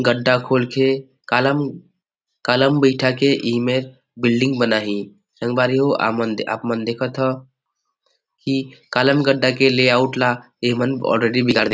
गढ़ा खोल के कालम कालम बैठा के इमें बिल्डिंग बनाहि संगवारी हो आप मन देखत हव कि कालम गढ़ा के ले ऑउट ल इमन ऑलरेडी बिगाड़ दे --